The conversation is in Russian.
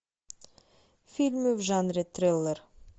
фильмы в жанре триллер